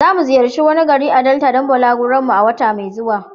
Zamu ziyarci wani gari a Delta don balaguron mu a wata mai zuwa.